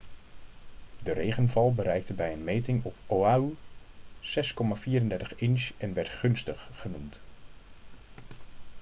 de regenval bereikte bij een meting op oahu 6,34 inch en werd gunstig' genoemd